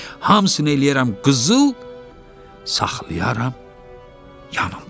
Hamısını eləyərəm qızıl, saxlayaram yanımda.